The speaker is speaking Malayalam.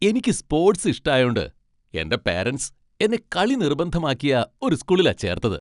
എനിക്ക് സ്പോട്സ് ഇഷ്ടായോണ്ട്, എന്റെ പാരന്റ്സ് എന്നെ കളി നിർബന്ധമാക്കിയ ഒരു സ്കൂളിലാ ചേർത്തത്.